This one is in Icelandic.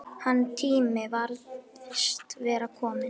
Hans tími virðist vera kominn.